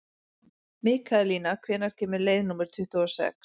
Mikaelína, hvenær kemur leið númer tuttugu og sex?